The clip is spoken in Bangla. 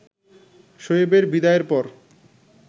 শোয়েবের বিদায়ের পর